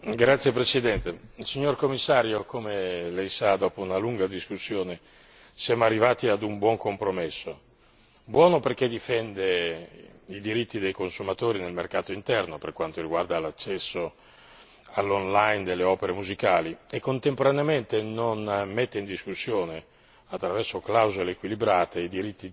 Signor Presidente, onorevoli colleghi, signor Commissario, come Lei sa, dopo una lunga discussione siamo arrivati ad un buon compromesso, buono perché difende i diritti dei consumatori nel mercato interno per quanto riguarda l'accesso online alle opere musicali e contemporaneamente non mette in discussione